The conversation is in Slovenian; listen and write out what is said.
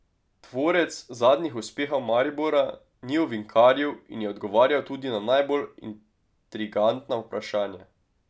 Tvorec zadnjih uspehov Maribora ni ovinkaril in je odgovarjal tudi na najbolj intrigantna vprašanja.